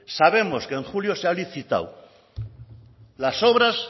sabemos que en julio se ha licitado las obras